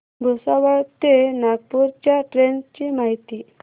भुसावळ ते नागपूर च्या ट्रेन ची माहिती